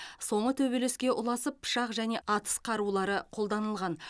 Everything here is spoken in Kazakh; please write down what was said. соңы төбелеске ұласып пышақ және атыс қарулары қолданылған